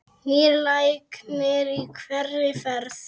Nýr læknir í hverri ferð.